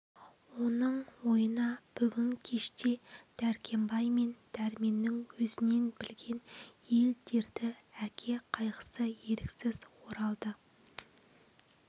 оның ойына бүгін кеште дәркембай мен дәрменнің өзінен білген ел дерті әке қайғысы еріксіз оралды